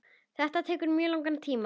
Þetta tekur mjög langan tíma.